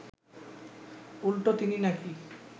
উল্টো তিনি নাকি